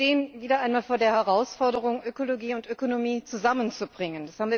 Wir stehen wieder einmal vor der Herausforderung, Ökologie und Ökonomie zusammenzubringen.